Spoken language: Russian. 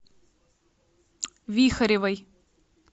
вихаревой